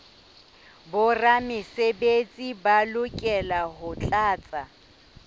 boramesebetsi ba lokela ho tlatsa